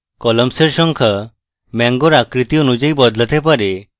columns এর সংখ্যা mango আকৃতি অনুযায়ী বদলাতে পারে